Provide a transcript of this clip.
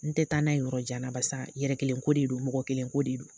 N tɛ taa n'a ye yɔrɔ jan na, barisa yɛrɛ kelen ko de don mɔgɔ kelen ko de don.